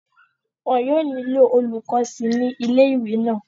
wọn yóò nílò olùkọ́ síi ní ilé ìwé náà